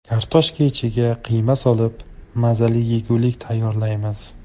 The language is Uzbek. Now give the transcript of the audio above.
Kartoshka ichiga qiyma solib, mazali yegulik tayyorlaymiz.